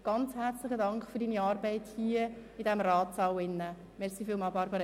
Ganz herzlichen Dank für Ihre Arbeit hier im Grossratssaal.